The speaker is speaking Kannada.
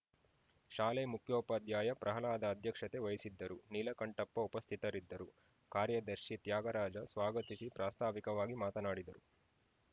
ಶಾಲೆ ಮುಖ್ಯೋಪಾಧ್ಯಾಯ ಪ್ರಹ್ಲಾದ ಅಧ್ಯಕ್ಷತೆ ವಹಿಸಿದ್ದರು ನೀಲಕಂಠಪ್ಪ ಉಪಸ್ಥಿತರಿದ್ದರು ಕಾರ್ಯದರ್ಶಿ ತ್ಯಾಗರಾಜ ಸ್ವಾಗತಿಸಿ ಪ್ರಾಸ್ತಾವಿಕವಾಗಿ ಮಾತನಾಡಿದರು